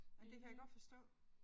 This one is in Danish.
Men det kan jeg godt forstå